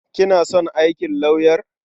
Kina son aikin lauyer?